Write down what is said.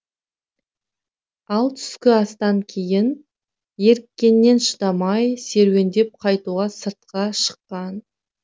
ал түскі астан кейін еріккеннен шыдамай серуендеп қайтуға сыртқа шыққан